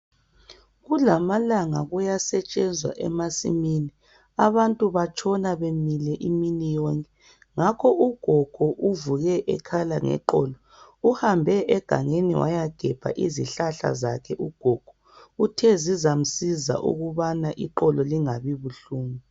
Kulamalanga kuyasetshenzwa emasimini abantu batshona bemile imini yonke ngakho ugogo uvuke ekhala ngeqolo. Uhambe engangeni wayagebha izihlahla zakhe ugogo, uthe zizamsiza ukubana inqolo lingabi buhlungu.